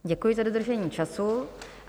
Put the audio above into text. Děkuji za dodržení času.